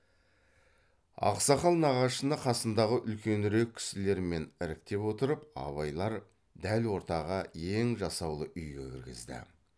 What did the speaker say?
ақсақал нағашыны қасындағы үлкенірек кісілермен іріктеп отырып абайлар дәл ортаға ең жасаулы үйге кіргізді